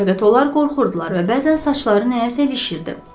Fəqət onlar qorxurdular və bəzən saçları nəyəsə ilişirdi.